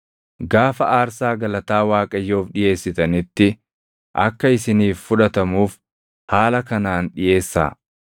“Gaafa aarsaa galataa Waaqayyoof dhiʼeessitanitti akka isiniif fudhatamuuf haala kanaan dhiʼeessaa.